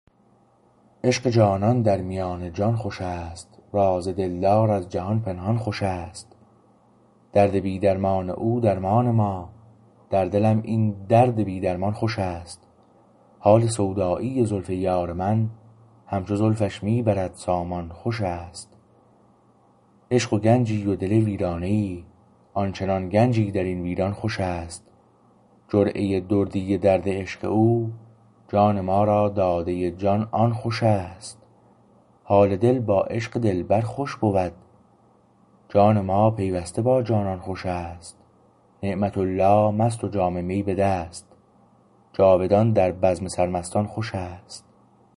عشق جانان در میان جان خوشست راز دلدار از جهان پنهان خوش است درد بی درمان او درمان ما در دلم این درد بی درمان خوش است حال سودایی زلف یار من همچو زلفش می برد سامان خوش است عشق و گنجی و دل ویرانه ای آن چنان گنجی در این ویران خوشست جرعه دردی درد عشق او جان ما را داده جان آن خوش است حال دل با عشق دلبر خوش بود جان ما پیوسته با جانان خوش است نعمت الله مست و جام می به دست جاودان در بزم سرمستان خوش است